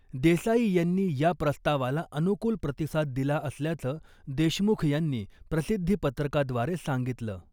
देसाई यांनी या प्रस्तावाला अनुकूल प्रतिसाद दिला असल्याचं देशमुख यांनी प्रसिद्धी पत्रकाद्वारे सांगितलं .